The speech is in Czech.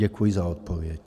Děkuji za odpověď.